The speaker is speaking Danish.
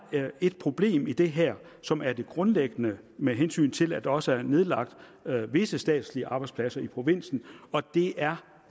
et problem i det her som er det grundlæggende med hensyn til at der også er nedlagt visse statslige arbejdspladser i provinsen og det er